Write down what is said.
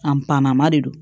A panama de don